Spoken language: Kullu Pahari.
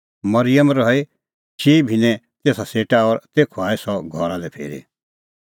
मरिअम रही चिई भिन्नैं तेसा सेटा और तेखअ आई सह घरा लै फिरी